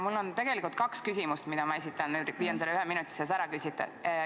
Mul on tegelikult kaks küsimust, mida ma püüan ühe minuti sees ära küsida.